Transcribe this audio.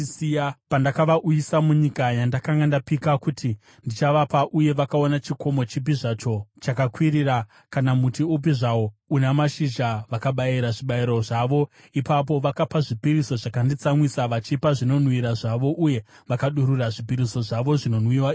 Pandakavauyisa munyika yandakanga ndapika kuti ndichavapa uye vakaona chikomo chipi zvacho chakakwirira kana muti upi zvawo una mashizha, vakabayira zvibayiro zvavo ipapo, vakapa zvipiriso zvakanditsamwisa, vachipa zvinonhuhwira zvavo uye vakadurura zvipiriso zvavo zvinonwiwa ipapo.